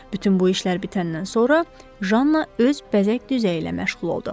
Bütün bu işlər bitəndən sonra Janna öz bəzək düzəyi ilə məşğul oldu.